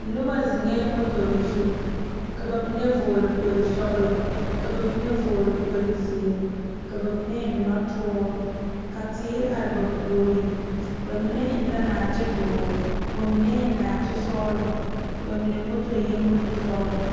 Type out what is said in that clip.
Noba zeŋe motore zu ka bamine vɔgle kpol sɔglɔ ka bamine vɔgle kpol ziiri ka bamine eŋ noɔtuura ka teere are ba puori bamine eŋ la naate doɔre ka bamine eŋ naate sɔglɔ bamine moto eŋ moto sɔglɔ.